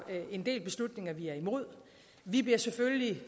en del beslutninger vi er imod vi bliver selvfølgelig